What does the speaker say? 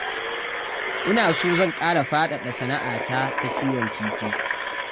Ina so zan ƙara faɗaɗa sana'a ta ta kiwon kifi